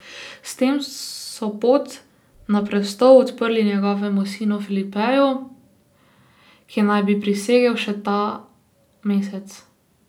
S tem so pot na prestol odprli njegovemu sinu Felipeju, ki naj bi prisegel še ta mesec.